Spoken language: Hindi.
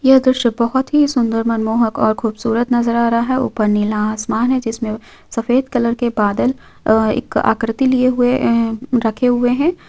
यह दृश्य बहुत ही सुंदर मनमोहक और खूबसूरत नजर आ रहा है ऊपर नीला आसमान है जिसमे सफेद कलर के बादल अ एक आकृति लिए हुए है रखे हुए है।